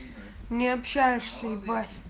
не общаешься ебать